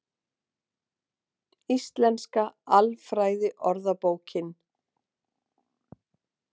Íslenska alfræðiorðabókin.